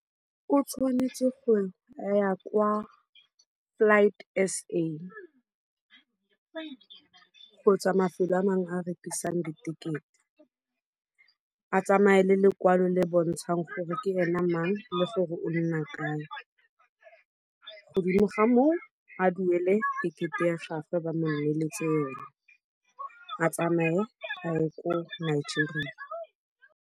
O tshwanetse go ya kwa Flight S_A kgotsa mafelo a mang a rekisang ditekete. A tsamaya le lekwalo le bontshang gore ke ene mang le gore o nna kae. Godimo ga moo a duele tekete ya gagwe ba mo neletse yone. A tsamaye a ye ko Nigeria.